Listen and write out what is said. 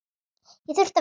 Ég þurfti að vinna.